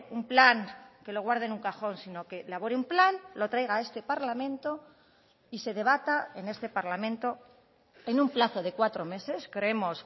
un plan que lo guarde en un cajón sino que elabore un plan lo traiga a este parlamento y se debata en este parlamento en un plazo de cuatro meses creemos